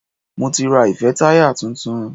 Mo ti ra ìfẹ́táyà tuntun.